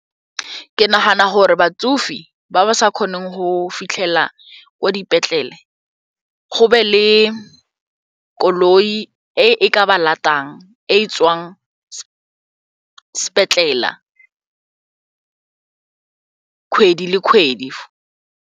Ke nagana gore batsofe ba ba sa kgoneng go fitlhela kwa dipetlele go be le koloi e e ka ba latang e tswang sepetlele kgwedi le kgwedi.